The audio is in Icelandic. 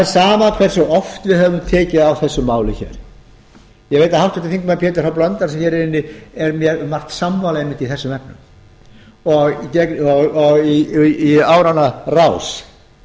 er sama hversu oft við höfum tekið á þessu máli ég veit að háttvirtur þingmaður pétur h blöndal sem hér er inni er mér um margt sammála einmitt í þessum efnum og í áranna rás